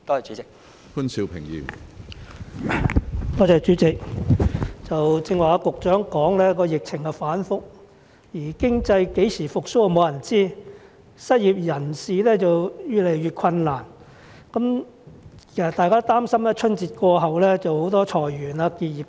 主席，局長剛才表示疫情反覆，沒有人知道經濟何時會復蘇，失業人士的生活則越來越困難，大家擔心春節過後會出現裁員結業潮。